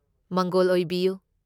ꯃꯪꯒꯣꯜ ꯑꯣꯏꯕꯤꯌꯨ!